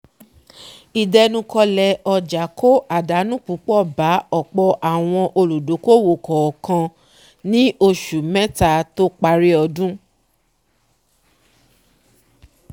ìdẹnukọ̀lẹ̀ ọjà kó àdánù púpọ̀ bá ọ̀pọ̀ àwọn olùdókòwò kọọ̀kan ní osù mẹ́ta tó parí odún